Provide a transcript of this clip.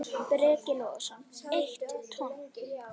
Breki Logason: Eitt tonn?